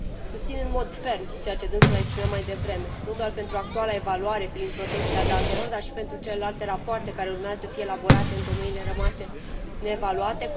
Susțin în mod ferm ceea ce dânsul a exprimat mai devreme, nu doar pentru actuala evaluare prin protecția datelor, dar și pentru celelalte rapoarte care urmează să fie elaborate în domeniile rămase neevaluate.